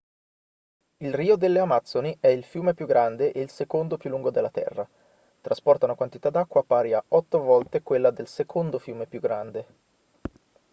il rio delle amazzoni è il fiume più grande e il secondo più lungo della terra trasporta una quantità d'acqua pari a 8 volte quella del secondo fiume più grande